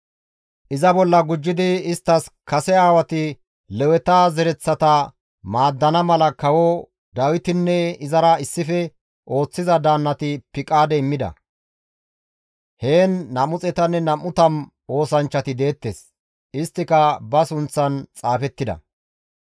Iza bolla gujjidi isttas kase aawati Leweta zereththata maaddana mala kawo Dawitinne izara issife ooththiza daannati piqaade immida; heen 220 oosanchchati deettes; isttika ba sunththan xaafettida.